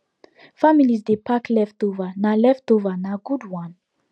families dey pack leftover nah leftover nah good one